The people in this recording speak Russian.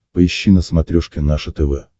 поищи на смотрешке наше тв